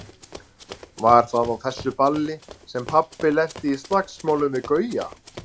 Var það á þessu balli sem pabbi lenti í slagsmálum við Gauja?